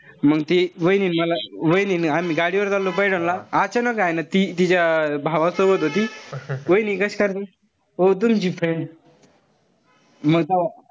मंग ती वाहिनी वाहिनी नि मी आम्ही गाडीवर चाललो पैठणला. अचानक हाय ना ती तिच्या भावासोबत होती. वाहिनी कशी करायची. ओ तुमची friend म तो,